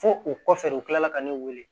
Fo o kɔfɛ u kilala ka ne wele